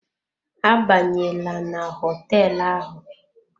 Abanyela na hoteelu ahụ.